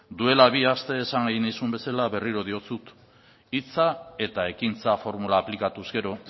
duela bi aste esan egin nizun bezala berriro diotsut hitza eta ekintza formula aplikatuz gero